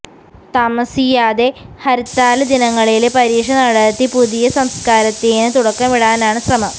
താമസിയാതെ ഹര്ത്താല് ദിനങ്ങളില് പരീക്ഷ നടത്തി പുതിയ സംസ്കാരത്തിന് തുടക്കമിടാനാണ് ശ്രമം